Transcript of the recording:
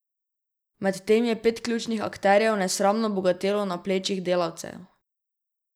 Medtem je pet ključnih akterjev nesramno bogatelo na plečih delavcev.